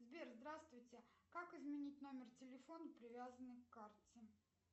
сбер здравствуйте как изменить номер телефона привязанный к карте